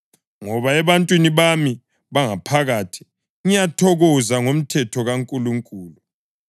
Ngoba ebuntwini bami bangaphakathi ngiyathokoza ngomthetho kaNkulunkulu;